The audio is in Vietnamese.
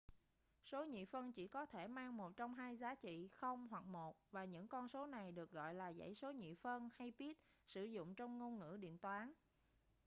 số nhị phân chỉ có thể mang một trong hai giá trị 0 hoặc 1 và những con số này được gọi là dãy số nhị phân hay bit sử dụng trong ngôn ngữ điện toán